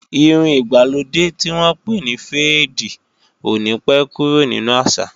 Irun ìgbàlódé tí wọ́n pè ní féèdì ò ní pé kúrò nínu àṣà